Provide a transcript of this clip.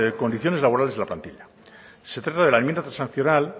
condiciones laborales de la plantilla se trata de la enmienda transaccional